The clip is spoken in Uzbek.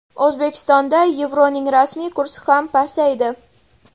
O‘zbekistonda yevroning rasmiy kursi ham pasaydi.